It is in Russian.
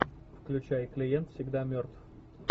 включай клиент всегда мертв